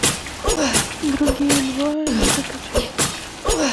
другие два закачай